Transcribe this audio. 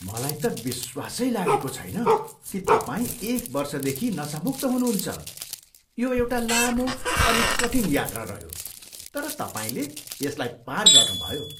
मलाई त विश्वासै लागेको छैन कि तपाईँ एक वर्षदेखि नसामुक्त हुनुहुन्छ! यो एउटा लामो अनि कठिन यात्रा रह्यो, तर तपाईँले यसलाई पार गर्नुभयो!